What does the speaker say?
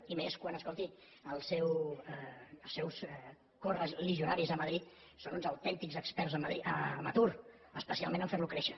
i més quan escolti els seus coreligionaris a madrid són uns autèntics experts en atur especialment a fer lo créixer